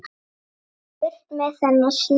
Burt með þennan snjó.